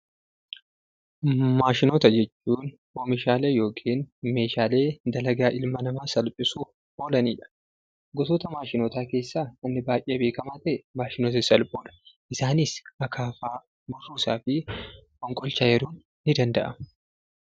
Maashinoota jechuun oomishaalee yookiin meeshaalee dalagaa ilma namaa salphisuuf oolanidha. Gosoota maashinootaa keessaa wanni baayyee beekkama ta'e maashinoota sassalphoodha. Isaanis hakaafaa burruusaafi fonqolcha eeruun ni danda'ama.